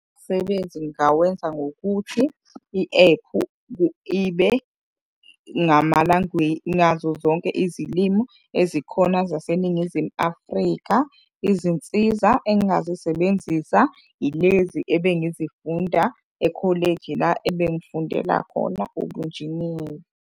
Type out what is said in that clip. Umsebenzi ngingawenza ngokuthi i-ephu ibe ngazo zonke izilimi ezikhona zaseNingizimu Afrika. Izinsiza engingazisebenzisa ilezi ebengizifunda ekholeji la ebengikufundela khona ubunjiniyela.